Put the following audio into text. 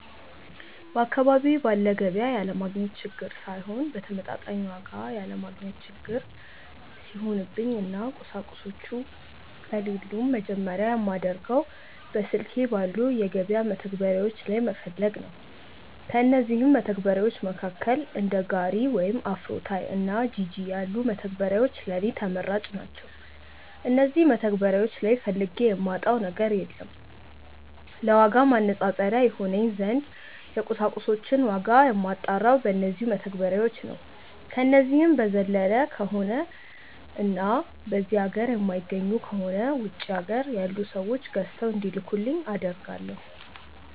በአካባቢዬ ባለ ገቢያ ያለማግኘት ችግር ሳይሆን በተመጣጣኝ ዋጋ ያለማግኘት እንደ ችግር ሲሆንብኝ እና ቁሳቁሶቹ ከሌሉም መጀመርያ የማደርገው በስልኬ ባሉ የገበያ መተግበሪያዎች ላይ መፈለግ ነው። ከእነዚህም መተግበርያዎች መካከል እንደ ጋሪ ወይም አፍሮታይ እና ጂጂ ያሉት መተግበሪያዎች ለኔ ተመራጭ ናቸዉ። እነዚህ መተግበሪያዎች ላይ ፈልጌ የማጣው ነገር የለም። ለዋጋ ማነፃፀሪያ ይሆነኝ ዘንድ የቁሳቁሶችን ዋጋ የማጣራው በነዚው መተግበሪያዎች ነው። ከነዚህ በዘለለ ከሆነ እና በዚህ ሀገር የማይገኙ ከሆነ ውጪ ሀገር ያሉ ሰዎች ገዝተው እንዲልኩልኝ አደርጋለው።